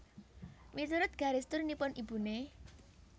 Miturut garis turunipun ibuné